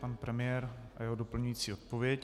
Pan premiér a jeho doplňující odpověď.